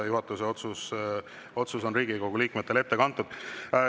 Juhatuse otsus on Riigikogu liikmetele ette kantud.